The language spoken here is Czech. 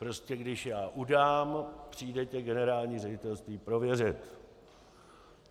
Prostě když já udám, přijde tě generální ředitelství prověřit.